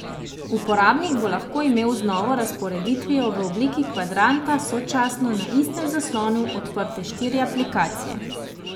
Uporabnik bo lahko imel z novo razporeditvijo v obliki kvadranta sočasno na istem zaslonu odprte štiri aplikacije.